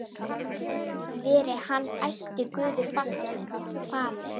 Veri hann ætíð Guði falinn.